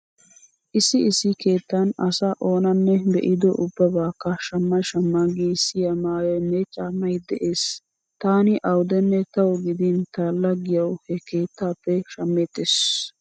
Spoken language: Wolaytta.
Issi issi keettan asaa oonanne be'ido ubbabaakka shamma shamma giissiya maayoynne caammay dees. Taani awudenne tawu gidin ta laggiyawu he keettaappe shammeettees.